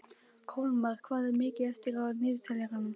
Kolmar, hvað er mikið eftir af niðurteljaranum?